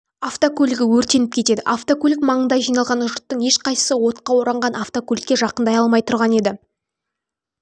автокөлігі өртеніп кетеді автокөлік маңында жиналған жұрттың ешқайсысы отқа оранған автокөлікке жақындай алмай тұрған еді